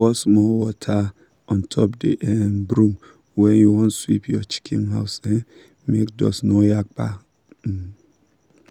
pour small water untop the um broom when u wan sweep your chicken house um make dust no yakpa um